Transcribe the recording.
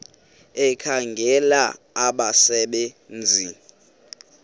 ekhangela abasebe nzi